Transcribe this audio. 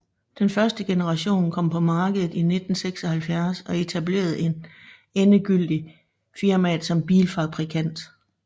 Den første generation kom på markedet i 1976 og etablerede endegyldigt firmaet som bilfabrikant